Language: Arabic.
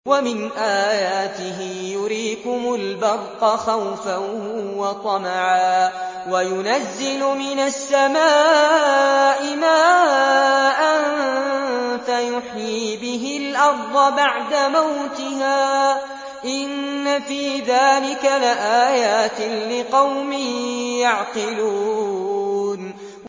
وَمِنْ آيَاتِهِ يُرِيكُمُ الْبَرْقَ خَوْفًا وَطَمَعًا وَيُنَزِّلُ مِنَ السَّمَاءِ مَاءً فَيُحْيِي بِهِ الْأَرْضَ بَعْدَ مَوْتِهَا ۚ إِنَّ فِي ذَٰلِكَ لَآيَاتٍ لِّقَوْمٍ يَعْقِلُونَ